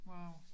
Wow